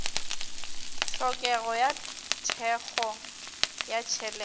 tlhokego ya thekgo ya tšhelete